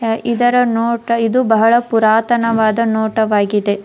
ಇದರ ನೋಟ ಇದು ಬಹಳ ಪುರಾತನವಾದ ನೋಟವಾಗಿದೆ.